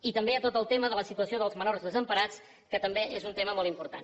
i també hi ha tot el tema de la situació dels menors desemparats que també és un tema molt important